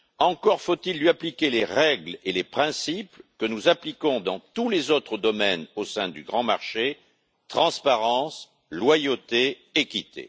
Encore faut il lui appliquer les règles et les principes que nous appliquons dans tous les autres domaines au sein du grand marché transparence, loyauté, équité.